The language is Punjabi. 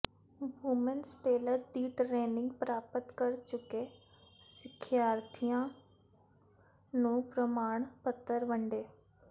ਵੂਮੈਨਜ਼ ਟੇਲਰ ਦੀ ਟ੍ਰੇੇਨਿੰਗ ਪ੍ਰਾਪਤ ਕਰ ਚੁੱਕੇ ਸਿੱਖਿਆਰਥੀਆਂ ਨੂੰ ਪ੍ਰਮਾਣ ਪੱਤਰ ਵੰਡੇ